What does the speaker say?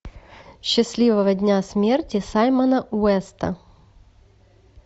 счастливого дня смерти саймона уэста